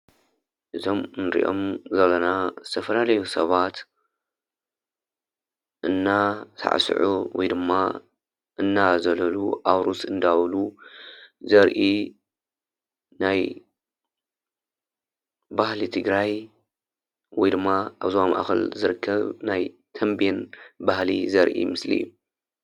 እዞም ንርእዮም ዘለና ዝተፋላለዩ ሰባት እናሳዕስዑ ወይ ድማ እናዘለሉ ኣዉርስ እንዳበሉ ዘርኢ ናይ ባህሊ ትግራይ ወይድማ ኣብ ዞባ ማእከል ዝርከብ ናይ ተምቤን ባህሊ ዘርኢ ምስሊ እዩ፡፡